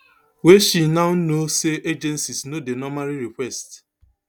wey she now know say agencies no dey normally request